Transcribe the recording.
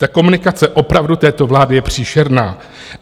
Ta komunikace opravdu této vlády je příšerná.